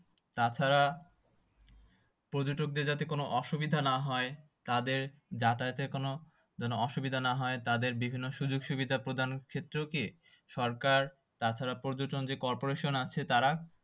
তাছাড়া পর্যটকদের যাতে কোনো অসুবিধা না হয় তাদের যাতায়াতের কোনো যেন অসুবিধা না হয় তাদের বিভিন্ন সুযোগ সুবিধা প্রদানের ক্ষেত্রেও কি সরকার তাছাড়া পর্যটন যে corporation আছে তারা